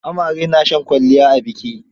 Amare na shan kwalliya a biki.